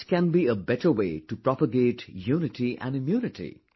What can be a better way to propagate unity and immunity